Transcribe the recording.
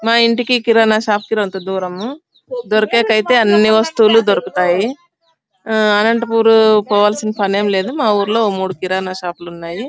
మా ఇంటికి కిరానా షాప్ కి దూరం దొరికెటివి ఐతే అన్ని దొరుకుతాయి . ఆహ్ అనంతపూర్ వెల్లసిన అవసరం లేదు మా ఊర్లో మూడు కిరానా షాపులు ఉన్నాయి.